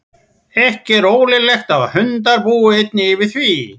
Ekki er ólíklegt að hundar búi einnig yfir því.